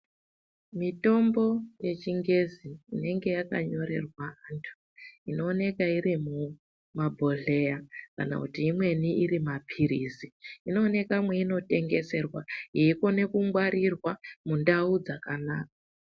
Mitombo yechingezi inenge yakanyorerwa vanthu inooneka iri mumabhodhleya kana kuti imweni ari mapilizi inooneka meinotengeswa yeikone kungwarirwa mundau dzakanaka